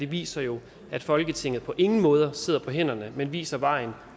viser jo at folketinget på ingen måde sidder på hænderne men viser vejen